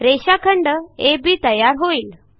रेषाखंड अब तयार होईल